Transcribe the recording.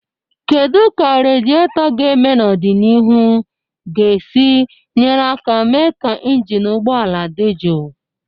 Kedu ka radietor ga-eme n'ọdịnihu ga-esi nyere aka mee ka injin ụgbọ ala dị jụụ?